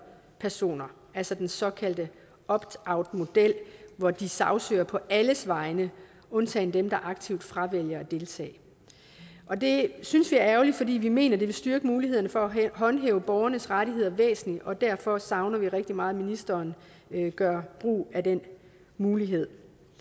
personer altså den såkaldte optoutmodel hvor de sagsøger på alles vegne undtagen dem der aktivt fravælger at deltage og det synes vi er ærgerligt fordi vi mener det vil styrke muligheden for at håndhæve borgernes rettigheder væsentligt og derfor savner vi rigtig meget at ministeren gør brug af den mulighed